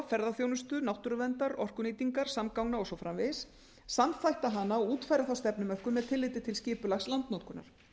ferðaþjónustu náttúruverndar orkunýtingar samgangna og svo framvegis samþætta hana og útfæra stefnumörkunina með tilliti til skipulags landnotkunar